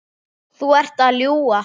Þú ert að ljúga!